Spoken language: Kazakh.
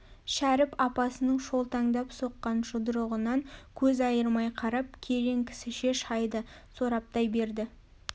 шәріп апасының шолтаңдап соққан жұдырығынан көз айырмай қарап керең кісіше шайды сораптай берді